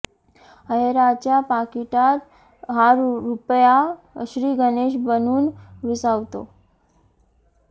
अहेराच्या पाकिटात हा रुपया श्री गणेश बनून विसावतो